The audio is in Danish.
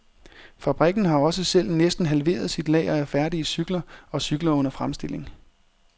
Fabrikken har også selv næsten halveret sit lager af færdige cykler og cykler under fremstilling.